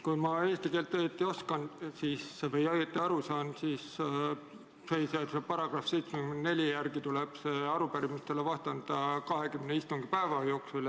Kui ma eesti keelt oskan või sellest õigesti aru saan, siis põhiseaduse § 74 järgi tuleb arupärimistele vastata 20 istungipäeva jooksul.